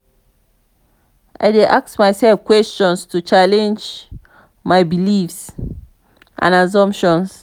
i dey ask myself questions to challenge my beliefs and assumptions.